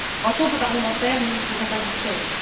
En tant que parlementaires, nous ne pouvons pas nous taire.